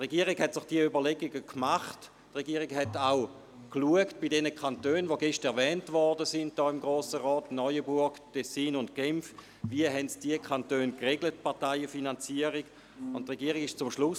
– Die Regierung hat diese Überlegungen angestellt und bei den gestern erwähnten Kantonen Neuenburg, Tessin und Genf geschaut, wie diese Kantone die Parteienfinanzierung geregelt haben.